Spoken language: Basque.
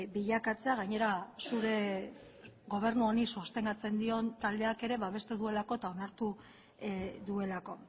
bilakatzea gainera zure gobernu honi sostengatzen dion taldeak ere babesten duelako eta onartu duelako